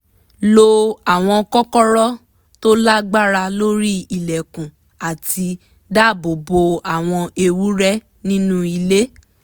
lo àwọn kọ́kọ́rọ́ tó lágbára lórí ilẹ̀kùn láti dáàbò bo àwọn ewúrẹ́ nínú ilé